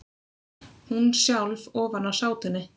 Hún sjálf ofan á sátunni.